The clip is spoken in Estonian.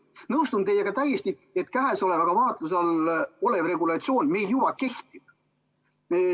Nõustun teiega täiesti, et vaatluse all olev regulatsioon meil juba kehtib.